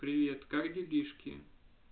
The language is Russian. привет как делишки